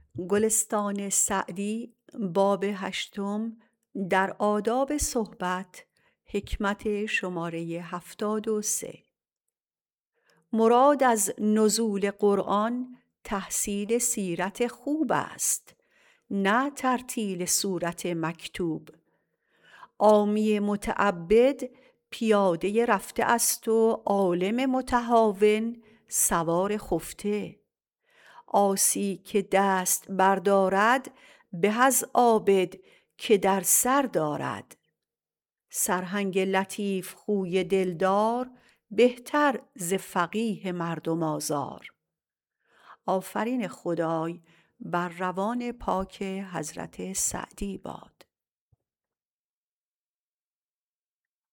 مراد از نزول قرآن تحصیل سیرت خوب است نه ترتیل سورت مکتوب عامی متعبد پیاده رفته است و عالم متهاون سوار خفته عاصی که دست بر دارد به از عابد که در سر دارد سرهنگ لطیف خوی دل دار بهتر ز فقیه مردم آزار